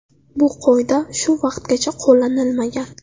Bu qoida shu vaqtgacha qo‘llanilmagan.